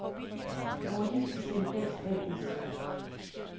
Nordisk Simplex A/S